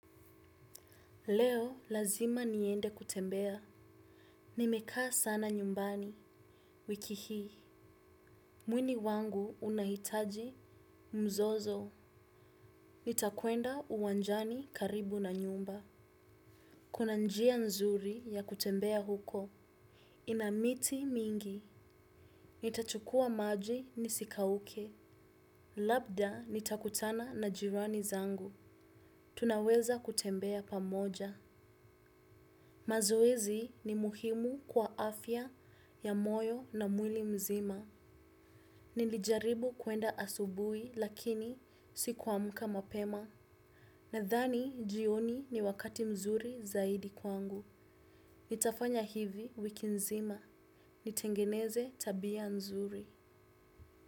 Leo lazima niende kutembea. Nimekaa sana nyumbani. Wiki hi. Mwini wangu unahitaji mzozo. Nitakuenda uwanjani karibu na nyumba. Kuna njia nzuri ya kutembea huko. Inamiti mingi. Nitachukua maji nisikauke. Labda nitakutana na jirani zangu. Tunaweza kutembea pamoja. Mazoezi ni muhimu kwa afya ya moyo na mwili mzima. Nilijaribu kuenda asubui lakini sikuwamka mapema. Nadhani jioni ni wakati mzuri zaidi kwangu. Nitafanya hivi wiki mzima. Nitengeneze tabia mzuri.